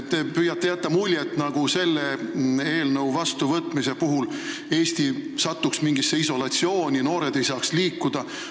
Te püüate jätta muljet, nagu selle eelnõu mittevastuvõtmise puhul Eesti satuks mingisse isolatsiooni, noored ei saaks liikuda.